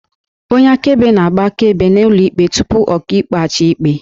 Onye akaebe na-agba akaebe n'ụlọ ikpe tupu Ọkaikpe a chaa ikpe